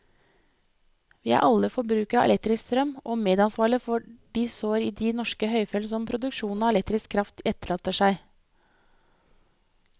Vi er alle forbrukere av elektrisk strøm, og medansvarlige for de sår i de norske høyfjell som produksjonen av elektrisk kraft etterlater seg.